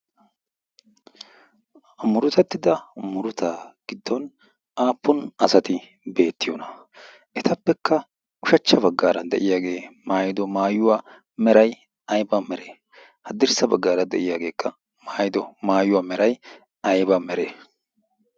amurotettida muruta giddon aappun asati beettiyoona etappekka ushachcha baggaara de'iyaagee maayido maayuwaa merai aiba mere haddirssa baggaara de'iyaageekka maayido maayuwaa merai ayba meree?